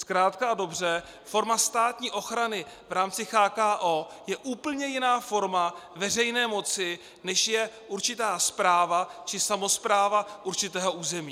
Zkrátka a dobře, forma státní ochrany v rámci CHKO je úplně jiná forma veřejné moci, než je určitá správa či samospráva určitého území.